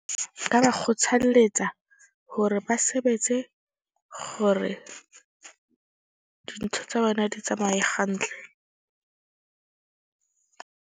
Nka ba kgothalletsa hore ba sebetse gore dintho tsa bona di tsamaye hantle .